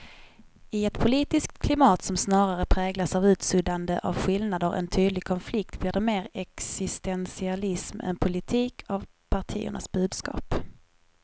I ett politiskt klimat som snarare präglas av utsuddande av skillnader än tydlig konflikt blir det mer existentialism än politik av partiernas budskap.